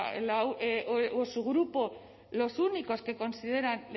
o su grupo los únicos que consideran